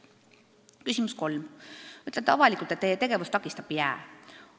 Kolmas küsimus: "Ütlete avalikult, et Teie tegevust takistab jää.